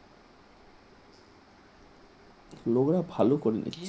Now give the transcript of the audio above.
লগ্রা ভালো করেনি ।